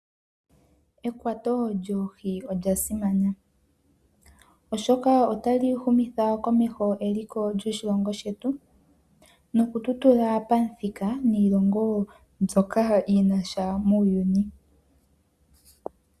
Ekwato lyoohi olyasimana oshoka otali humitha komesho eliko lyoshilongo shetu nokutotudha pamuthika niilongo mbyoka yinasha muuyuni.